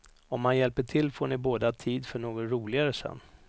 Om han hjälper till får ni båda tid för något roligare sen.